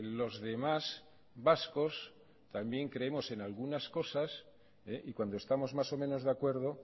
los demás vascos también creemos en algunas cosas y cuando estamos más o menos de acuerdo